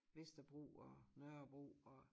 Vesterbro og Nørrebro og